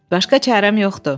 Başqa çarəm yoxdur.